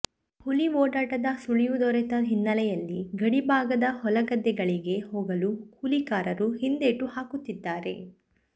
ಹುಲಿ ಓಡಾಟದ ಸುಳಿವು ದೊರೆತ ಹಿನ್ನೆಲೆಯಲ್ಲಿ ಗಡಿಭಾಗದ ಹೊಲಗದ್ದೆಗಳಿಗೆ ಹೋಗಲು ಕೂಲಿಕಾರರು ಹಿಂದೇಟು ಹಾಕುತ್ತಿದ್ದಾರೆ